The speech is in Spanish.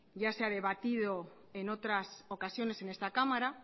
ya se ha debatido en otras ocasiones en esta cámara